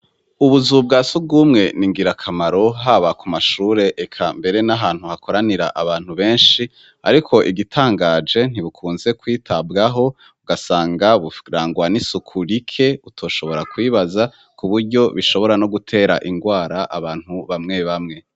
Ubuzu bwa surumwe n'ingirakamaro, haba ku mashure eka mbere n'ahantu hakoranira abantu benshi . Ariko igitangaje, ntibukunze kwitabwaho, ugasanga burangwa n'isuku rike utoshobora kwibaza, ku buryo bishobora no gutera ingwara abantu bamwe bamwe.